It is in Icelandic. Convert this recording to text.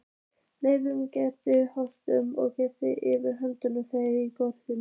Laufgaðar greinar þorpsins bylgjuðust yfir höfðum þeirra í golunni.